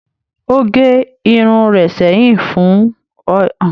Ó gẹ irun rẹ̀ sẹ́yìn fún ayẹyẹ ọjọ́ ìbí rẹ̀.